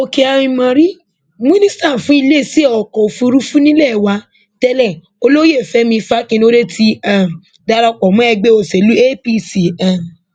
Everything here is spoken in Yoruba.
òkè ámórì mínísítà fún iléeṣẹ ọkọ òfurufú nílé wa tẹlẹ olóyè fẹmi fanikanode ti um darapọ mọ ẹgbẹ òsèlú apc um